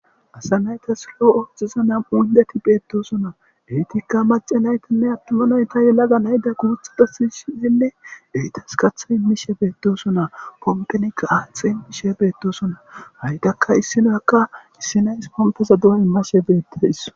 Asa naytas loo7ooxiza nam7u undeti beettosonna eytikka mace naytanne attuma nayta yelaga nayda guuthada sishisinne ehitas katha immishe beetosonaa pompenikka aaxe imishe beettosonna hayydakka issinakka issinays pompesa duo immashe beettes